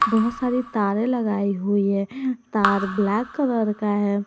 बहुत सारे तारे लगाई हुई है तार ब्लैक कलर का है।